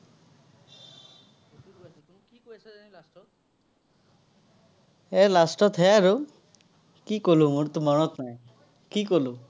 এৰ last তহে আৰু। কি ক'লো, মোৰতো মনত নাই। কি ক'লো?